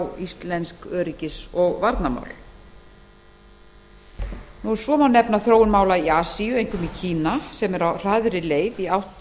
á íslensk öryggis og varnarmál þá má nefna þróun mála í asíu einkum í kína sem er á hraðri leið í átt